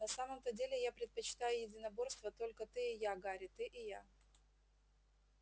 на самом-то деле я предпочитаю единоборство только ты и я гарри ты и я